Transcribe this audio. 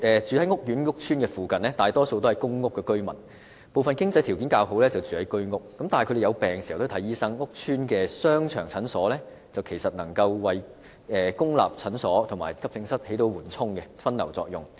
住在屋邨商場附近的大部分是公屋居民，部分經濟條件較好的便住在居屋，但他們生病時也要向醫生求診，屋邨商場的診所其實能夠為公立診所和急症室發揮緩衝和分流作用。